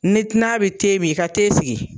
Ni ginan bi te min i ka te sigi.